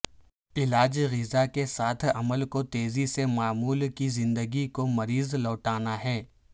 علاج غذا کے ساتھ عمل کو تیزی سے معمول کی زندگی کو مریض لوٹانا ہے